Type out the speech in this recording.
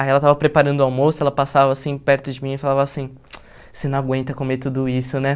Aí ela estava preparando o almoço, ela passava, assim, perto de mim e falava assim, você não aguenta comer tudo isso, né?